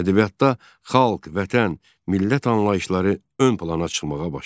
Ədəbiyyatda xalq, Vətən, millət anlayışları ön plana çıxmağa başladı.